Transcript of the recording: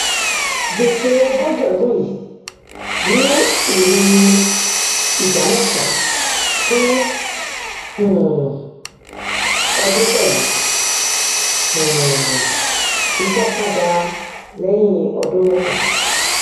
gbèsè ogójì ọdún yìí ní èrè ìdá mẹsàn fún um ọdún pẹlú um ìsanpadà lẹyìn ọdún mẹta